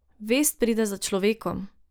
Vest pride za človekom!